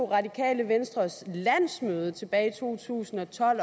radikale venstres landsmøde også tilbage i to tusind og tolv